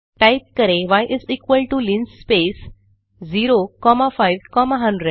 type करें y is equal to linspace 0 comma 5 comma 100